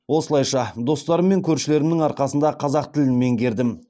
осылайша достарым мен көршілерімнің арқасында қазақ тілін меңгердім